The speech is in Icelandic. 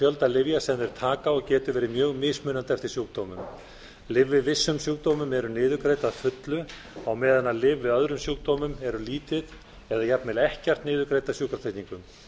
fjölda lyfja sem þeir taka og getur verið mjög mismunandi eftir sjúkdómum lyf við vissum sjúkdómum eru niðurgreidd að fullu meðan lyf við öðrum sjúkdómum eru lítið eða jafnvel ekkert niðurgreidd af sjúkratryggingum